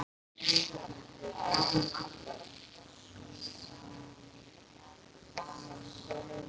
Hvíl í friði, afi minn.